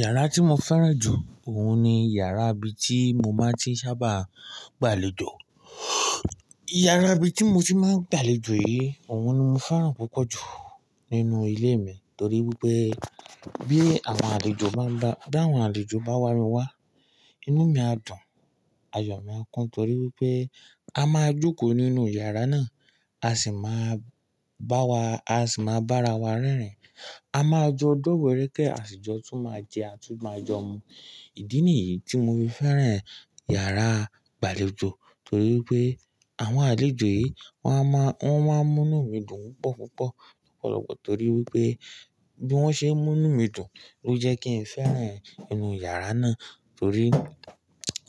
Yàrá tí mo fẹ́ràn jù òhun ni yàrá ibi tí mo máa ti sábà gbàlejò. Yàrá ibi tí mo ti máa ń gbàlejò yìí, òhun ni mo fẹ́ràn púpọ̀ jù nínú ilé mi torí wípé bí àwọn àlejò bá ń ba, bí àwọn àlejò bá wá mí wa, inú mi á dùn, ayọ̀ mi á kún torí wípé a máa jókòó nínú yàrá náà, a sì máa bá wa, a sì máa bára wa rẹ́rìn. A máa jọ dọ́wọ̀ rẹ́kẹ́, àsìjọ tún máa jẹ, a tún máa jo mu. Ìdí nìyí tí mo fi fẹ́ràn yàrá ìgbàlejò torí wípé àwọn àlejò yìí wọ́n máa n, wọ́n máa ń mú ínu mi dùn púpọ̀ púpọ̀ lọ́pọ̀lọpọ̀ torí wípé bí wọ́n ṣe ń mú nu mí dùn ló jẹ́ kí ń fẹ́ràn inú yàrá náà torí